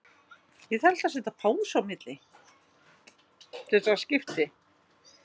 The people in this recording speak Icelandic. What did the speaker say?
Fjarðarvegi